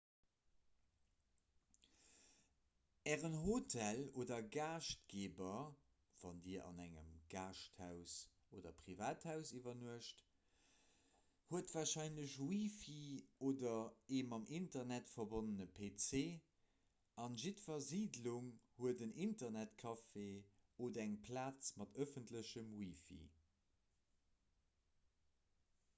ären hotel oder gaaschtgeeber wann dir an engem gäschthaus oder privathaus iwwernuecht huet warscheinlech wi-fi oder ee mam internet verbonnene pc a jiddwer siidlung huet en internetcafé oder eng plaz mat ëffentlechem wi-fi